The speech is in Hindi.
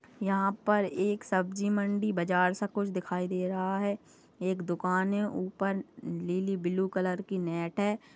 यहा पर एक सब्जी मंडी बाजार सा कुछ दिखाई दे रहा है एक दुकान है ऊपर लीली ब्लू कलर की नेट है।